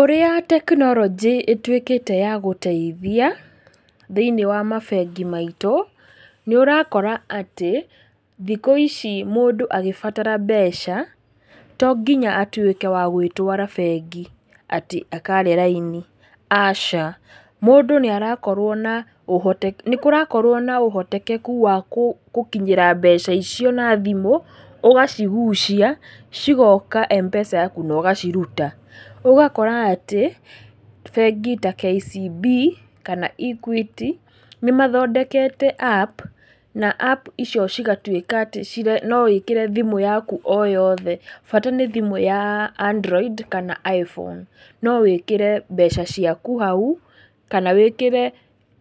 Ũrĩa tekironjĩ ĩtuĩkĩte ya gũteithia, thĩinĩ wa mabengi maitũ, nĩ ũrakora atĩ, thikũ ici mũndũ agĩbatara mbeca, tonginya atuĩke wa gũĩtwara bengi, atĩ, akare raini, aca. Mũndũ nĩ arakorwo na ũhoti. Nĩkũrakorwo na ũhotekeku wa gũkinyĩra mbeca icio na thimũ, ũgacigucia cigoka M-pesa yaku nogaciruta. Ũgakora atĩ, bengi ta KCB, kana Equity, nĩmathondekete App, na App icio cigatuĩka atĩ, no wĩkĩre thimũ yaku o yothe, bata nĩ thimũ ya adroid, kana iPhone, nowĩkere mbeca ciaku hau, kana wĩkĩre